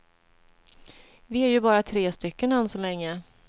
Vi är ju bara tre stycken än så länge.